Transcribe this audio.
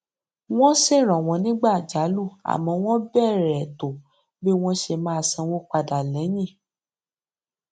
wọn ṣèrànwọ nígbà àjálù àmọ wọn bèèrè ètò bí wọn ṣe máa san owó padà lẹyìn